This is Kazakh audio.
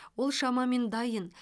ол шамамен дайын